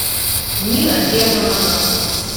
нина германовна